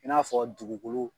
I n'a fɔ dugukolo